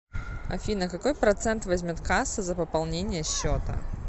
афина какой процент возьмет касса за пополнение счета